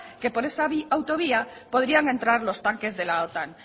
que por esa autovía podrían entrar los tanques de la otan